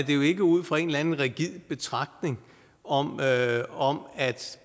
jo ikke ud fra en eller anden rigid betragtning om at om at